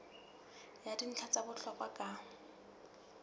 ya dintlha tsa bohlokwa ka